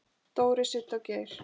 Dóri, Siddi og Geir.